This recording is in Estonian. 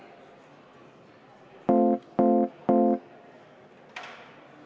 Istung on lõppenud.